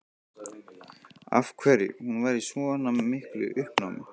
Af hverju hún var í svona miklu uppnámi.